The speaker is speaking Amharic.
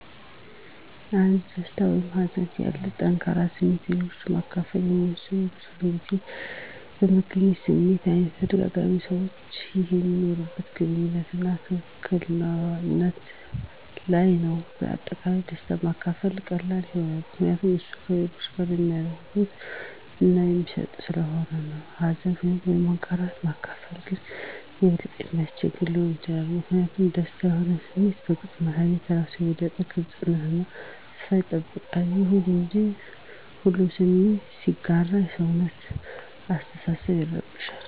አንድ ደስታ ወይም ሀዘን ያሉ ጠንከር ስሜቶችን ለሌሎች ማከፈል የሚወሰነው የብዙዉን ጊዜ በተገኘው ስሜት አይነት፣ በተጋራበት ሰዋች ይህ በሚኖርዋት ግንኙነት አና ትክክል ነት ለይ ነዉ። በአጠቃላይ ደስታን ማካፈል ቀላል ይሆናል ምከንያቱም እሱ ከሌሎች ጋረ የሚያጋረ እና የሚስደስት ሰለሆነ ነው። ሀዘንን ወይም አለመረጋጋት ማካፈል ግን የበለጠ የሚያስቸግር ሊሆን ይችላል ሚኪንያቱም ደስተኛ የሆኑ ስሜቶችን በግልፅ ማሳየት እራሱን የበለጠ የግልጽነት አና ሰፋት ይጠይቃል። ይሁን እንጂ፣ ሁለቱ ስሜቶችን ሲጋራ የሰውነታችን አሰተሳሰብ ይረብሻል